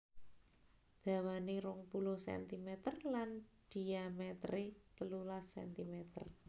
Dawanè rong puluh cm lan dhimetere telulas cm